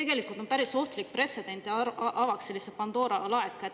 See oleks päris ohtlik pretsedent, see avaks Pandora laeka.